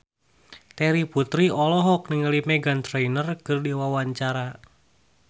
Terry Putri olohok ningali Meghan Trainor keur diwawancara